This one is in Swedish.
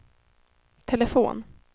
telefon